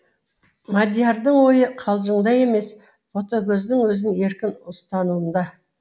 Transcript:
мадиярдың ойы қалжыңда емес ботагөздің өзін еркін ұстануында